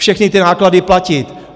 Všechny ty náklady platit.